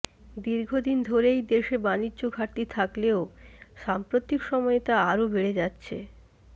দীর্ঘদিন ধরেই দেশে বাণিজ্য ঘাটতি থাকলেও সাম্প্রতিক সময়ে তা আরো বেড়ে যাচ্ছে